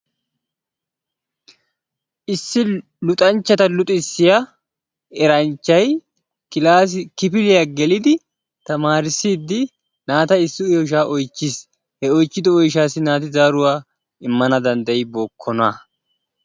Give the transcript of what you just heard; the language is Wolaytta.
Issi luxanchchata luxissiya eranchchay kifiliyaa gelidi tamarissidi naata issi oyshsha oychchiis he oychchido oyshshassi naati zaaruwaa immana danddayibookona.